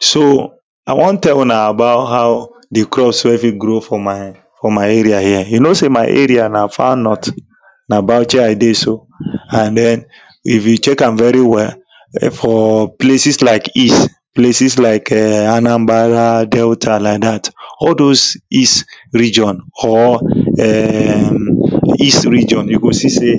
So i wan tell una about how di crops wey fit grow for my for my area here. You say my area here na far north na Bauchi i dey so and den if you check am very well for places like east, places like[um]Anambra, Delta like dat. All those east region or[um]east region, you go see say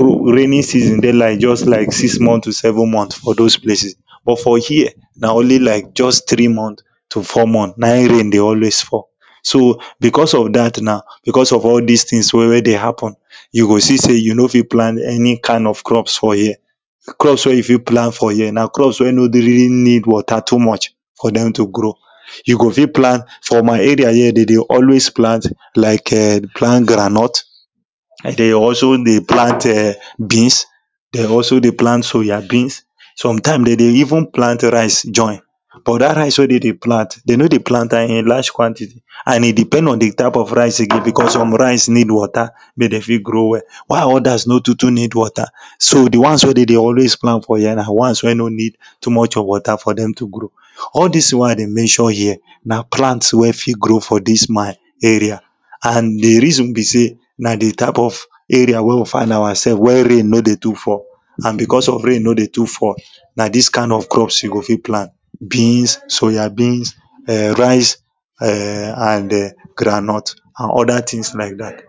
rainy season dey just like six months to seven months for those place, but for here, na only like just three months to four months na rain dey always fall. So, because of dat na, because of all dis things wey dey hapun, you go see say you no fit plan any kind of crop for here. Crops wey you fit plant for here, na crops wey nor really need water too much for dem to grow. You go fit plant, for my area here dem dey always plant like ehn, plant groundnut, and dem also dey plant[um]beans, dem also dey plant soya beans. sometimes dem dey even plant rice join but dat rice wey dem dey plant, dem no dey plant am in large quantity and e depend on di type of rice, because some rice need water make dem fit grow well. While others no too too need water. So di ones wey dem dey always plant for here na ones wey no need too much of water for dem to grow. All dis wey i dey mention here, na plants wey fit grow for dis my area and d reason be say na di type of wey we find ourself we rain no dey too fall and because of wey rain no dey too fall. na dis kind of crops you go fit plant beans, soya beans, rice[um]and ehn! groundnut and others things like dat.